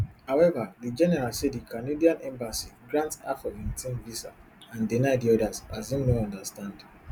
however di general say di canadian embassy grant half of im team visa and deny di odas and im no understand